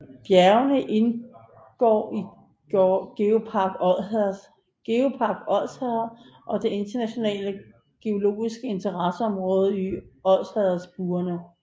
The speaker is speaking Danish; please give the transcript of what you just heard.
Bjergene indgår i GeoPark Odsherred og det internationale geologiske interesseområde Odsherredbuerne